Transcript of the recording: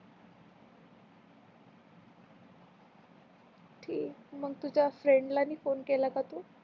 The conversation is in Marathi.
ठीक मग तुझ्या friend ला फोन केला का तू